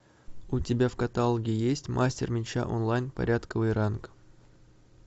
у тебя в каталоге есть мастер меча онлайн порядковый ранг